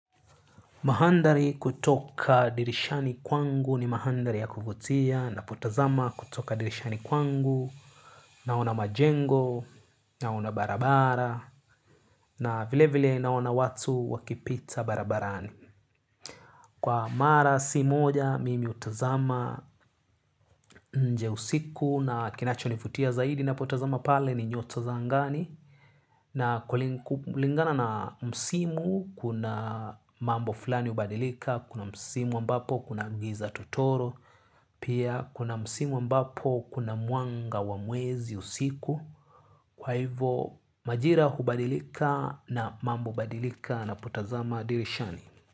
Mahandhari kutoka dirishani kwangu ni mahandhari ya kuvutia napotazama kutoka dirishani kwangu naona majengo naona barabara na vilevile naona watu wakipita barabarani. Kwa mara si moja mimi hutazama nje usiku na kinachonivutia zaidi napotazama pale ni nyota za angani. Na kulingana na msimu kuna mambo fulani hubadilika, kuna msimu ambapo kuna giza totoro. Pia kuna msimu ambapo kuna mwanga wa mwezi usiku. Kwa hivo majira hubadilika na mambo hubadilika napotazama dirishani.